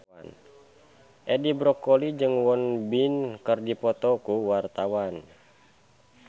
Edi Brokoli jeung Won Bin keur dipoto ku wartawan